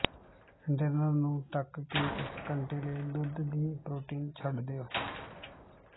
container ਨੂੰ ਢੱਕ ਕੇ ਇਕ ਘੰਟੇ ਲਈ ਦੁੱਧ ਦੀ ਪ੍ਰੋਟੀਨ ਛੱਡ ਦਿਓ